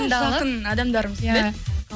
жақын адамдарымыз біледі